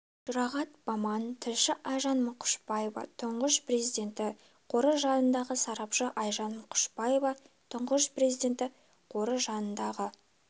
жұрағат баман тілші айжан мұқышбаев тұңғыш президенті қоры жанындағы сарапшысы айжан мұқышбаева тұңғыш президенті қоры жанындағы